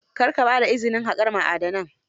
Kar ka ba da izinin haƙar ma'adanan